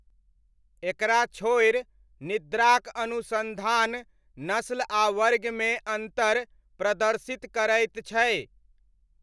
एकरा छोड़ि, निद्राक अनुसन्धान नस्ल आ वर्गमे अन्तर प्रदर्शित करैत छै।